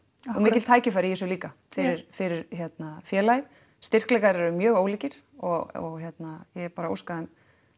og mikil tækifæri í þessu líka fyrir fyrir hérna félagið styrkleikar eru mjög ólíkir og ég bara óska þeim